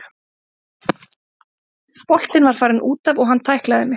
Boltinn var farinn útaf og hann tæklaði mig.